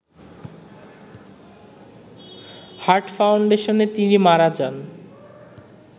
heart ফাউন্ডেশনে তিনি মারা যান